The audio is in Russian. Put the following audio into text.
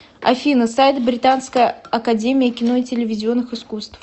афина сайт британская академия кино и телевизионных искусств